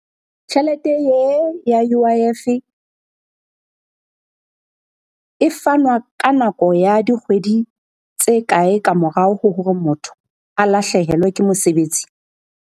Tjhelete e ya U_I_F e fanwa ka nako ya dikgwedi tse kae ka morao ho hore motho a lahlehelwe ke mosebetsi?